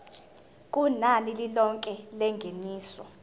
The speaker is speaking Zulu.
kunani lilonke lengeniso